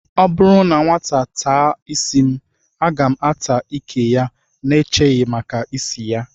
Ọ bụrụ na nwata ata ísí m, a ga m ata ìkè ya n'echeghị maka ịsị ya